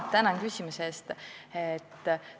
Tänan küsimuse eest!